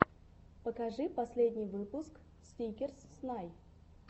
покажи последний выпуск сникерс снай